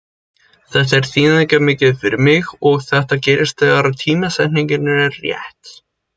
Þetta er þýðingarmikið fyrir mig og þetta gerist þegar að tímasetningin er rétt.